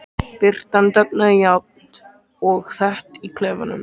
Birtan dofnaði jafnt og þétt í klefanum.